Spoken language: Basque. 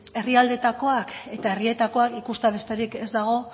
herrialdeetakoak eta herrietakoak ikustea besterik ez dago